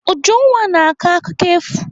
Ujunwa na-akọ akụkọ efu.